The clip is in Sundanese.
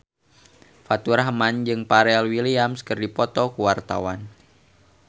Faturrahman jeung Pharrell Williams keur dipoto ku wartawan